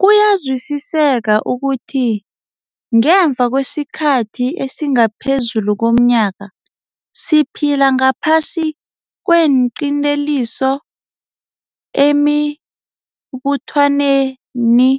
Kuyazwisiseka ukuthi ngemva kwesikhathi esingaphezulu komnyaka siphila ngaphasi kweenqinteliso emibuthanweni